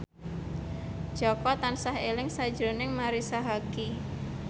Jaka tansah eling sakjroning Marisa Haque